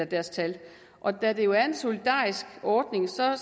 deres tal og da det jo er en solidarisk ordning ser